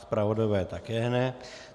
Zpravodajové také ne.